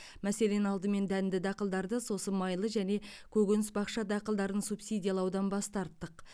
мәселен алдымен дәнді дақылдарды сосын майлы және көкөніс бақша дақылдарын субсидиялаудан бас тарттық